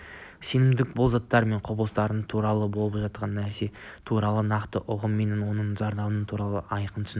сенімділік бұл заттар мен құбылыстар туралы болып жатқан нәрсе туралы нақты ұғым мен оның зардабы туралы айқын түсінік